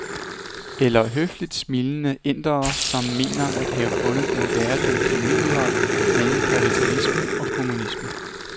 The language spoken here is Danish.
Eller høfligt smilende indere, som mener at have fundet den bæredygtige middelvej mellem kapitalisme og kommunisme.